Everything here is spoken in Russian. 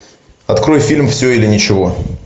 открой фильм все или ничего